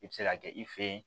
I bɛ se ka kɛ i fe ye